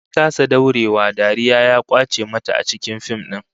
Ta kasa daurewa, dariya ya kwace mata a cikin fim din